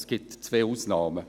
Es gibt zwei Ausnahmen.